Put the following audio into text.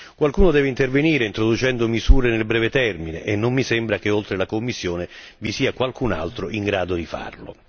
Qualcuno deve intervenire introducendo misure nel breve termine e non mi sembra che oltre alla Commissione vi sia qualcun altro in grado di farlo.